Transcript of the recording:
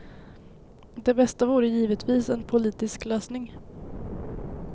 Det bästa vore givetvis en politisk lösning.